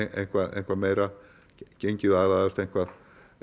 eitthvað eitthvað meira gengið aðlagast eitthvað